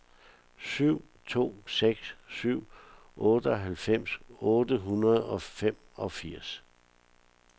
syv to seks syv otteoghalvfems otte hundrede og femogfirs